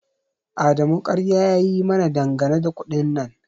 Adamu ƙarya ya yi mana dangane da kuɗin nan